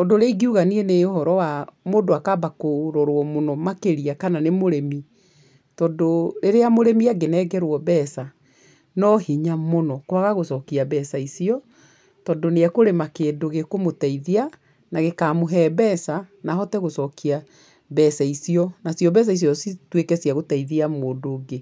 Ũndũ ũrĩa ingiuga niĩ nĩ ũhoro wa mũndũ akamba kũrorwo mũno makĩria kana nĩ mũrĩmi, tondũ rĩrĩa mũrĩmi angĩnengerwo no hinya mũno kwaga gũcokia mbeca icio tondũ nĩ ekũrĩma kĩndũ gĩkũmũteithia na gĩkamũhee mbeca na ahote gũcokia mbeca icio. Nacio mbeca icio cituĩke cia gũteithia mũndũ ũngĩ.